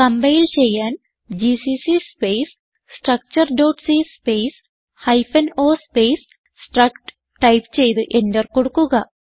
compile ചെയ്യാൻ GCC space structureസി space hyphen o space struct type ചെയ്ത് എന്റർ കൊടുക്കുക